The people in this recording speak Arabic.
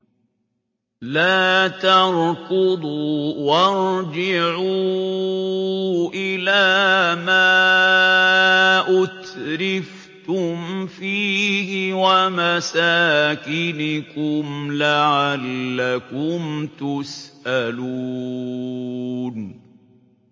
لَا تَرْكُضُوا وَارْجِعُوا إِلَىٰ مَا أُتْرِفْتُمْ فِيهِ وَمَسَاكِنِكُمْ لَعَلَّكُمْ تُسْأَلُونَ